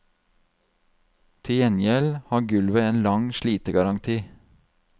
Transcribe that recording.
Til gjengjeld har gulvet en lang slitegaranti.